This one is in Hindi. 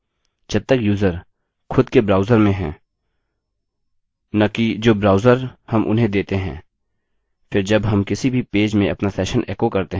जब तक यूजर खुद के ब्राउजर में है न कि जो ब्राउजर हम उन्हें देते हैं फिर जब हम किसी भी पेज में अपना सेशन एको करते हैं यह सेशन के रूप में सेट होगा